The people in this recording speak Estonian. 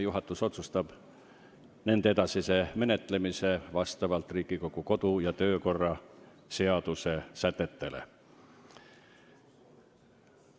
Juhatus otsustab nende edasise menetlemise vastavalt Riigikogu kodu- ja töökorra seaduse sätetele.